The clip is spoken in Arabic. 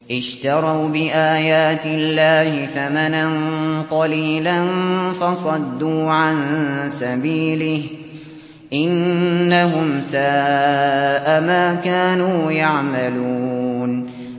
اشْتَرَوْا بِآيَاتِ اللَّهِ ثَمَنًا قَلِيلًا فَصَدُّوا عَن سَبِيلِهِ ۚ إِنَّهُمْ سَاءَ مَا كَانُوا يَعْمَلُونَ